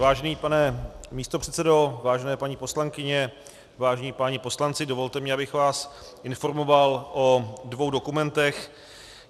Vážený pane místopředsedo, vážené paní poslankyně, vážení páni poslanci, dovolte mi, abych vás informoval o dvou dokumentech.